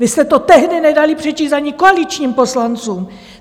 Vy jste to tehdy nedali přečíst ani koaličním poslancům.